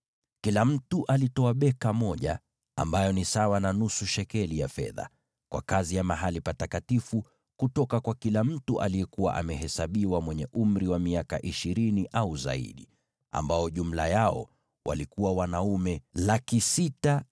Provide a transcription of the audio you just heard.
Kila mtu alitoa beka moja, ambayo ni sawa na nusu shekeli ya fedha, kwa kazi ya mahali patakatifu, kutoka kwa kila mtu aliyekuwa amehesabiwa mwenye umri wa miaka ishirini au zaidi, ambao jumla yao walikuwa wanaume 603,550.